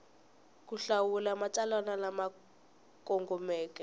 ku hlawula matsalwa lama kongomeke